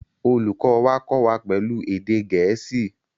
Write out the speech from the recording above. Olùkọ́ wa kọ́ wa pẹ̀lú èdè Gẹ̀ẹ́sì